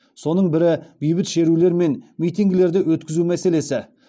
соның бірі бейбіт шерулер мен митингілерді өткізу мәселесі